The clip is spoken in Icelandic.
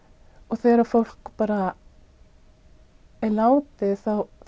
þegar fólk er látið